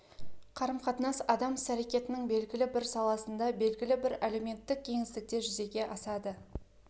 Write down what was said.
қарым-қатынас адам іс-әрекетінің белгілі бір саласында белгілі бір әлеуметтік кеңістікте жүзеге асады